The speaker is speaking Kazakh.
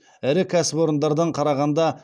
ірі кәсіпорындардан қарағанда